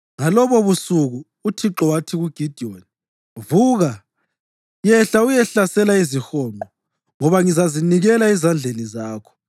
Ngalobobusuku uThixo wathi kuGidiyoni, “Vuka, yehla uyehlasela izihonqo ngoba ngizazinikela ezandleni zakho.